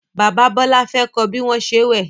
Bàbá Bola fè kò bí wón ṣe wẹ.